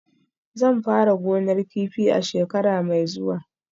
Zan fara gonar kifi a shekara mai zuwa